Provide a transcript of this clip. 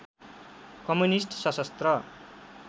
communist सशस्त्र